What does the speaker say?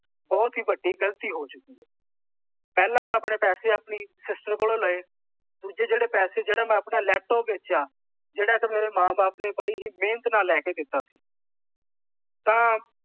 ਬਹੁਤ ਹੀ ਵੱਡੀ ਗਲਤੀ ਹੋ ਚੁਕੀ ਹੈ। ਪਹਿਲਾਂ ਮੈਂ ਪੈਸੇ ਆਪਣੀ ਸਿਸਟਰ ਕੋਲੋਂ ਲਏ। ਦੂਜੇ ਜਿਹੜੇ ਪੈਸੇ ਜਿਹੜਾ ਮੈਂ ਆਪਣਾ ਲੈਪਟਾਪ ਵੇਚਿਆ। ਜਿਹੜਾ ਕਿ ਮੇਰੇ ਮਾਂ ਬਾਪ ਨੇ ਬੜੀ ਹੀ ਮਿਹਨਤ ਨਾਲ ਲੈ ਕੇ ਦਿੱਤਾ ਸੀ। ਤਾਂ